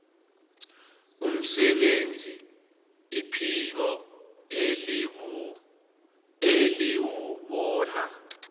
umsebenzi iphiko eliwubona